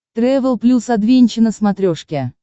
трэвел плюс адвенча на смотрешке